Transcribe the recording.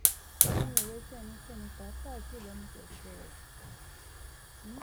mi ò retí ẹnikẹ́ni pàápàá jùlọ bí mo ṣe ṣẹ̀ṣẹ̀ ń jí